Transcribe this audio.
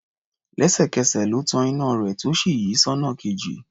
Lẹ́sẹ̀kẹsẹ̀ ló tan iná rẹ̀ tó sì yí sọ́nà kejì.